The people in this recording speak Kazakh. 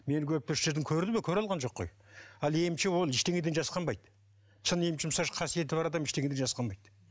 мені көрді ме көре алған жоқ қой ал емші ол ештеңеден жасқанбайды шын қасиеті бар адам ештеңеден жасқанбайды